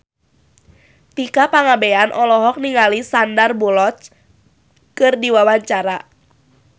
Tika Pangabean olohok ningali Sandar Bullock keur diwawancara